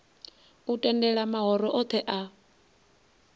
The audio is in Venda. u tendela mahoro othe a